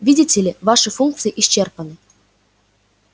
видите ли ваши функции исчерпаны